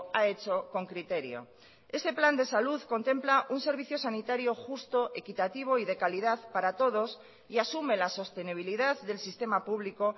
ha hecho con criterio ese plan de salud contempla un servicio sanitario justo equitativo y de calidad para todos y asume la sostenibilidad del sistema público